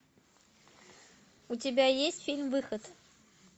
у тебя есть фильм выход